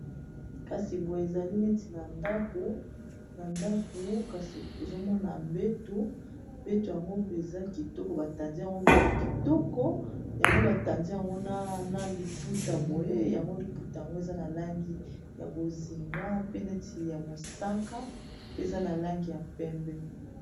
Kasi boye ezali neti na ndako kasi tozomona mbetu mbeto yango mpeza kitoko batandi yango mbeto kitoko yango batandi yango na liputa boye yango liputa yango eza na langi ya bozinga pe neti ya mosaka pe eza na langi ya pembe